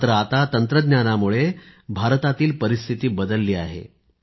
मात्र आता तंत्रज्ञानामुळे भारतातील परिस्थिति बदलली आहे